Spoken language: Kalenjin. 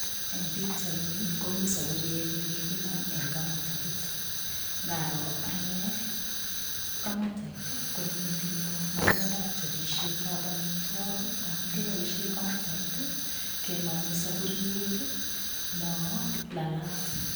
Eng pikchaini komi saburiet ne kikinam eng kamatait, ngaro ane kamatait ii, konyo metinyu ngalekab chobisietab amitwokik amun kiboisie kamatait ii, kenome saburiet no lalat.